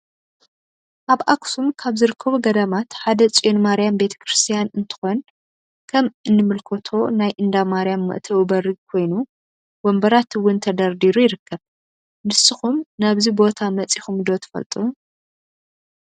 አብ አክሱም ካብ ዝርከቡ ገዳማት ሓደ ፅዮን ማርያም ቤተ ከርስትያን እንትኮን ከም እንምልከቶ ናይ እንዳ ማርያም መእተዊ በሪ ኮይን ወንበራት እውን ተደርዲሩ ይርከብ። ንስኩም ናብዚ ቦታ መፂኩም ዶ ትፈልጡ?